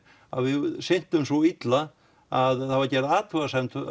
við sinntum því svo illa að það var gerð athugasemd